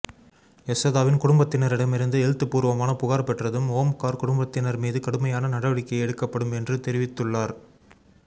யசோதாவின் குடும்பத்தினரிடமிருந்து எழுத்துப்பூர்வமான புகார் பெற்றதும் ஓம்கார் குடும்பத்தினர் மீது கடுமையான நடவடிக்கை எடுக்கப்படும் என்று தெரிவித்துள்ளார்